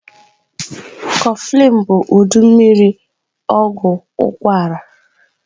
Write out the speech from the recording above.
Kofflin bu udị mmiri ogwu ukwara.